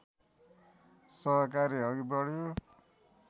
सहकार्य अघि बढ्यो